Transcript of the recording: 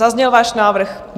Zazněl váš návrh?